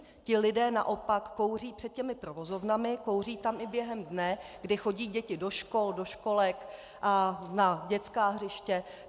Ti lidé naopak kouří před těmi provozovnami, kouří tam i během dne, kdy chodí děti do škol, do školek a na dětská hřiště.